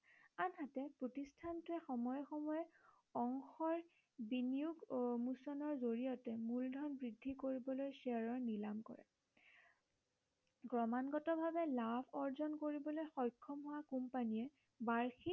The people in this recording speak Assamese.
সময়ে সময়ে অংশৰ বিনিয়োগ উন্মোচনৰ জৰিয়তে মূলধন বৃদ্ধি কৰিবলৈ শ্বেয়াৰৰ নিলাম কৰে ক্ৰমাগতভাৱে লাভ অৰ্জন কৰিবলৈ সক্ষম হোৱা কোম্পানীয়ে বাৰ্ষিক